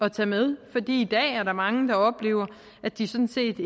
at tage med fordi i dag er der mange der oplever at de sådan set